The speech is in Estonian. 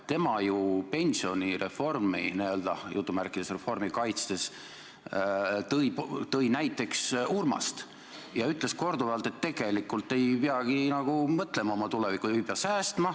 Tema ju tõi pensionireformi – n-ö reformi – kaitstes näiteks Urmase ja ütles korduvalt, et tegelikult nagu ei peagi mõtlema oma tulevikule, ei pea säästma.